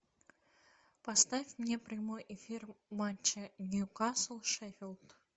поставь мне прямой эфир матча ньюкасл шеффилд